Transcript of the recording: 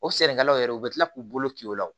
O sɛnɛkɛlaw yɛrɛ u bɛ tila k'u bolo k'i la